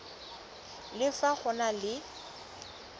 le fa go na le